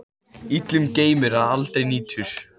Illum geymir, ef aldrei nýtur.